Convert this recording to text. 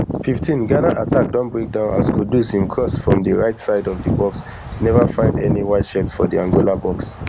fifteenghana attack don breakdown as kudus im cross from di right side of di box neva fiond any whiteshirt for di angola box